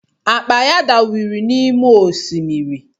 Akpa ya dawiri n’ime osimiri